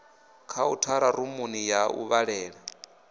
khauthara rumuni ya u vhalela